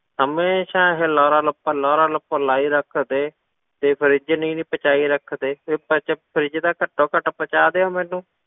ਹਮੇਸ਼ਾ ਇਹ ਲਾਰਾ ਲੱਪਾ ਲਾਰਾ ਲੱਪਾ ਲਾਈ ਰੱਖਦੇ, ਤੇ fridge ਨੀ ਜੀ ਪਹੁੰਚਾਈ ਰੱਖਦੇ, ਵੀ ਦੱਸ fridge ਤਾਂ ਘੱਟੋ ਘੱਟ ਪਹੁੰਚਾ ਦਿਓ ਮੈਨੂੰ,